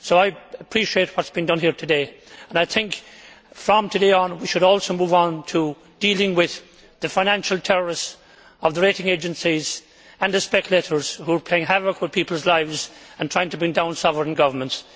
So I appreciate what has been done here today and I think that, from today on, we should also move on to dealing with the financial terrorists of the rating agencies and the speculators who are playing havoc with people's lives and trying to bring down sovereign governments.